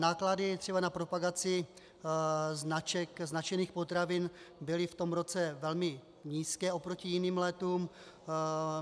Náklady třeba na propagaci značek, značených potravin, byly v tom roce velmi nízké oproti jiným letům.